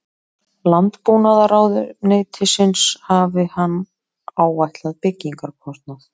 Landbúnaðarráðuneytisins hafi hann áætlað byggingarkostnað